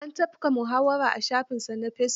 An tafka muhawara a shafinsa na fesibuk.